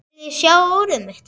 Viljiði sjá úrið mitt?